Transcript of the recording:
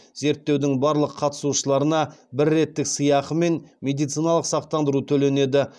зерттеудің барлық қатысушыларына бір реттік сыйақы мен медициналық сақтандыру төленеді